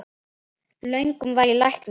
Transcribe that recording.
Löngum var ég læknir minn